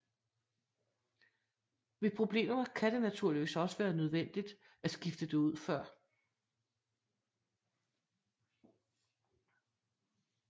Ved problemer kan det naturligvis også være nødvendigt at skifte det ud før